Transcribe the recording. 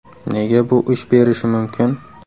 Nega bu ish berishi mumkin?